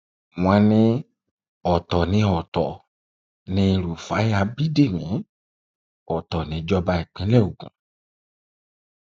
wọn ní ọtọ ní ọtọ ni rúfáì ábídẹmi ọtọ níjọba ìpínlẹ ogun